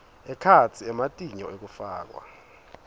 ekhatsi ematinyo ekufakwa